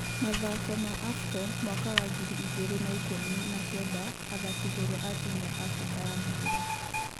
Mathako ma Afcon mwaka wa gĩri igĩrĩ na ikũmi na kenda athaki njorua a timũ ya Afrika ya mũhuro